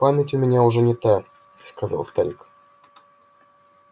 память у меня уже не та сказал старик